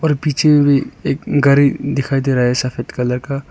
और पीछे में भी एक घर दिखाई दे रहा है सफेद कलर का।